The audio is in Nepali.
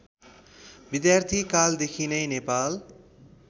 विद्यार्थीकालदेखि नै नेपाल